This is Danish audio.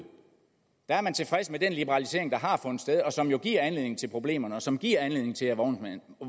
der er man tilfreds med den liberalisering der har fundet sted som jo giver anledning til problemerne og som giver anledning til at